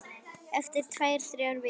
Eftir tvær, þrjár vikur.